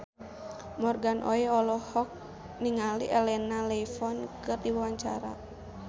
Morgan Oey olohok ningali Elena Levon keur diwawancara